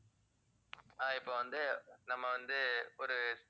அஹ் இப்ப வந்து நம்ம வந்து ஒரு